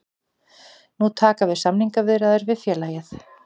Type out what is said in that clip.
Nú taka við samningaviðræður við félagið